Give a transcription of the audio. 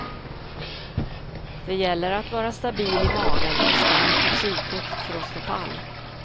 Det gäller att vara stabil i magen och stark i psyket för att stå pall.